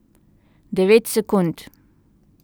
Devet sekund.